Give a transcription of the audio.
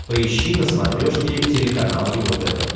поищи на смотрешке телеканал его тв